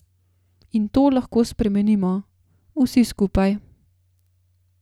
In to lahko spremenimo, vsi skupaj.